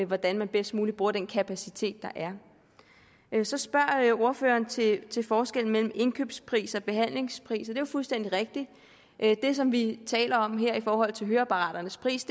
hvordan man bedst muligt bruger den kapacitet der er så spørger ordføreren til til forskellen mellem indkøbspris og behandlingspris det er jo fuldstændig rigtigt at det som vi taler om her i forhold til høreapparatets pris